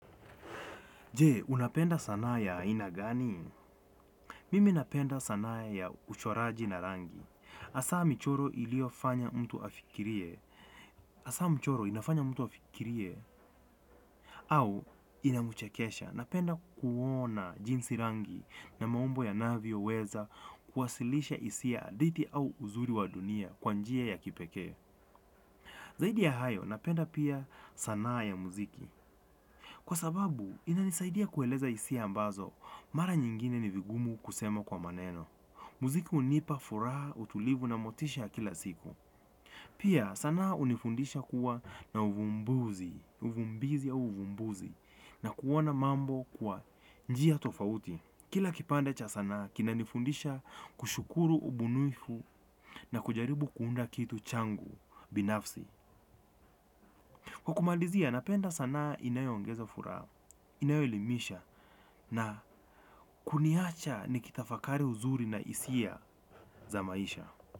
Je, unapenda sanaa ya ina gani? Mimi napenda sanaa ya uchoraji na rangi hasa michoro iliyo fanya mtu afikirie. Asa mchoro inafanya mtu afikirie. Au inamchekesha napenda kuona jinsi rangi na maumbo yanavyo weza kuwasilisha hisia hadithi au uzuri wa dunia kwa njia ya kipekee. Zaidi ya hayo napenda pia sanaa ya muziki. Kwa sababu inanisaidia kueleza hisia ambazo mara nyingine ni ngumu kusema kwa maneno. Muziki hunipa furaha, utulivu na motisha ya kila siku. Pia, sanaa hunifundisha kuwa na uvumbuzi, uvumbizi au uvumbuzi, na kuoana mambo kwa njia tofauti. Kila kipande cha sana, kinanifundisha kushukuru ubunifu na kujaribu kuunda kitu changu, binafsi. Kwa kumalizia, napenda sanaa inayoongeza furaha, inayoelimisha na kuniacha nikitafakari uzuri na hisia za maisha.